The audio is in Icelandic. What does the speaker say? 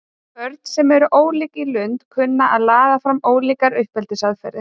Börn sem eru ólík í lund kunna að laða fram ólíkar uppeldisaðferðir.